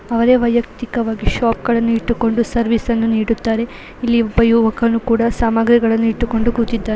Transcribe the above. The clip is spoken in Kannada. ಅವರೇ ವೈಯುಕ್ತಿಕವಾಗಿ ಶಾಪ್ ಗಳನ್ನೂ ಇಟ್ಟುಕ್ಕೊಂಡು ಸರ್ವಿಸ್ ಅನ್ನು ನೀಡುತ್ತಾರೆ ಸಾಮಗ್ರಿ ಗಳನು ಇಟುಕೊಂಡು ಕುಳ್ತಿದಾರೆ.